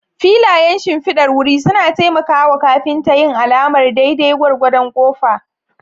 Filayen shimfidar wuri suna taimaka wa kafinta yin alamar daidai gwargwadon kofa.